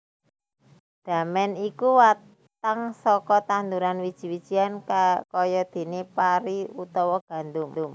Damèn iku watang saka tanduran wiji wijian kayadéné pari utawa gandum